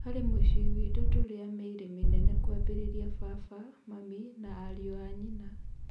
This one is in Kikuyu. Harĩ mũciĩ witũ tũrĩ a mĩĩrĩ mĩnene kũambĩrĩria baba, Mami na ariũ a nyina.